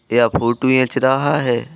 य फोटू ऐंच रहा है।